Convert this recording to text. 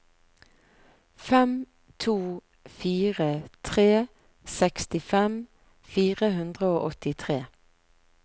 fem to fire tre sekstifem fire hundre og åttitre